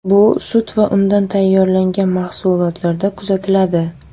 Bu sut va undan tayyorlangan mahsulotlarda kuzatiladi.